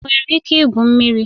Ị nwere ike igwu mmiri?